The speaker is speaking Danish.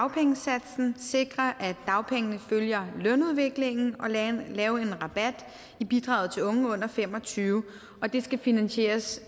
dagpengesatsen sikre at dagpengene følger lønudviklingen og lave lave en rabat i bidraget til unge under fem og tyve år og det skal finansieres